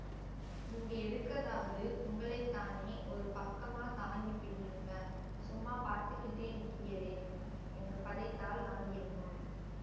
நீங்க எடுக்கதாவது உங்களைத்தானே ஒரு பக்கமாத் தாங்கி பிடியுங்க சும்மா பாத்துக்கிட்டே நிக்கியளே என்று பதைத்தாள் காந்திமதியம்மாள்